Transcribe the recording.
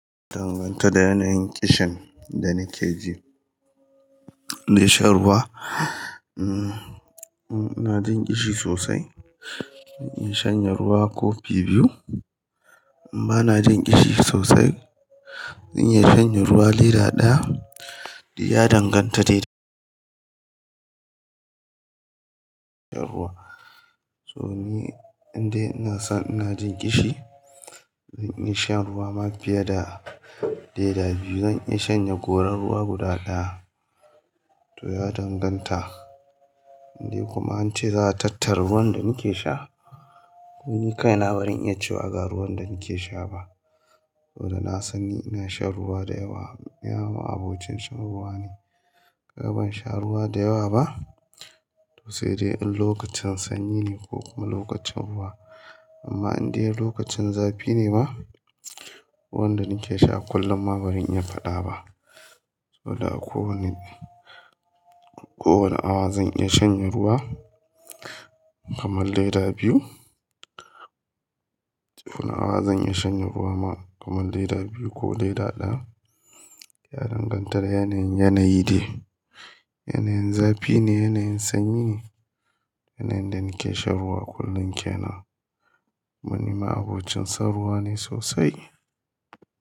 Danganta da yanayin kishin da nake ji. In sha ruwa, ina jin kishi sosai, zan iya shanye ruwa kofi biyu. In ba na jin kishi sosai, zan iya shanye ruwa leda ɗaya. Ya danganta da irin kishin ruwa. So ni, in dai ina san ina jin kishi, zan iya shan ruwa ma fiye da leda biyu. Zan iya shanye goron ruwa guda ɗaya. To ya danganta. In dai kuma an ce za a tattara ruwan da nake sha? Ni kai na bari in iya ciwa ga ruwan da nake sha ba. Sabo da na sani ina shan ruwa da yawa. Ma'abocin shan ruwa ne. Kagaban sha ruwa da yawa ba? To sai dai in lokacin sanyi ne ko kuma lokacin ruwa. Amma in dai lokacin zafi ne ma, ruwan da nake sha kullum ba zan iya faɗa ba. To da a kowane, kowane awa zan iya shanye ruwa kamar leda biyu. Kowane awa zan iya shanye ruwa ma kamar leda biyu ko leda ɗaya. Ya danganta da yanayin yanayi ne. Yanayin zafi ne, yanayin sanyi ne, yanayin da nake shan ruwa kullum ke nan. Kumani ma'abocin son ruwa ne sosai.